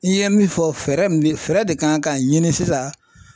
I ye min fɔ fɛɛrɛ min bi fɛɛrɛ de kan ka ɲini sisan